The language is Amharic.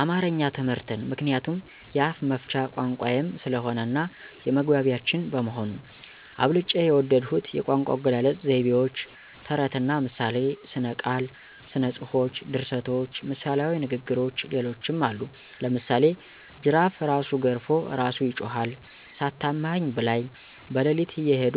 አማረኛ ትምህርትን ምክንያቱም የአፍመፍቻ ቋንቋየም ስለሆነ እናየመግባቢያችን በመሆኑ። አብልጨ የወደድሁት የቋንቋአገላለጽ፣ ዘይዎች፣ ተረትና ምሳሌ፣ ሥነቃል፣ ሥነጽፎች፣ ድርሰቶች፣ ምሣሌዊንግግሮች ሌሎችም አሉ። ለምሳሌ ጅራፍእራሱ ገርፎ እራሱ ይጮሀል፣ ሳታማኸኝ ብላይ። በለሊትእየሄዱ